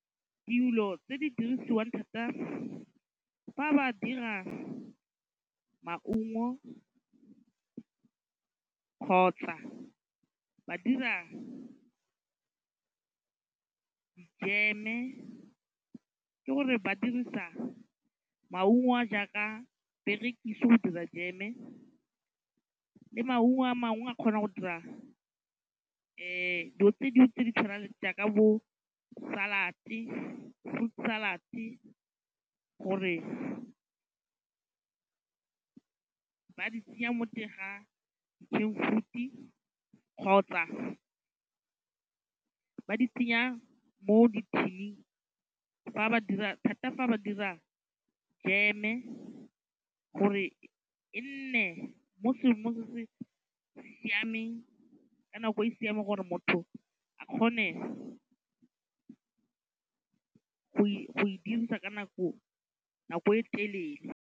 Dilo tse di dirisiwang thata fa ba dira maungo kgotsa ba dira jeme ke gore ba dirisa maungo a jaaka perekise go dira jeme le maungo a mangwe a kgona go dira dilo tse di tshwanang le jaaka bo salad-e, friut salad-e gore ba di tsenya mo teng ga can-friut-e kgotsa ba di tsenya mo dithining thata fa ba dira jeme gore e nne mo seemong se siameng ka nako e siameng gore motho a kgone go e dirisa ka nako e telele.